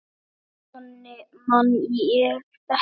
Eða þannig man ég þetta.